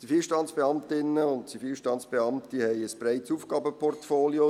Zivilstandesbeamtinnen und Zivilstandesbeamte haben ein breites Aufgabenportfolio.